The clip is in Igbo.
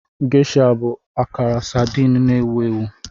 Geisha bụ akara sardine na-ewu ewu.